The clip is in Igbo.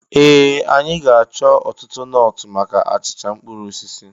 Ee! Anyị ga-achọ ọtụtụ nọọtụ maka achịcha mkpụrụ osisi.